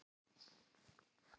Fólki líður þá betur eftir á.